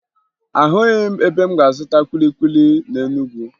Ahụghị m ebe m ga-azụta kwili kwili na Enugwu